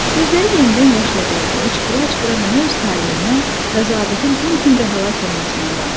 Gözləri yenidən yaşla doldu, hıçqıra-hıçqıra mənə öz taleindən və zabitin Tonkində həlak olmasından danışdı.